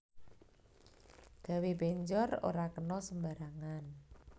Gawe penjor ora kena sembarangan